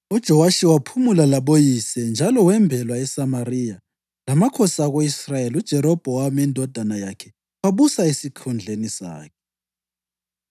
UJowashi waphumula laboyise, njalo wembelwa eSamariya lamakhosi ako-Israyeli. UJerobhowamu indodana yakhe wabusa esikhundleni sakhe.